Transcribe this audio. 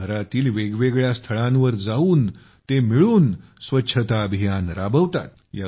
शहरातील वेगवेगळ्या स्थळांवर जाऊन ते मिळून स्वच्छता अभियान राबवतात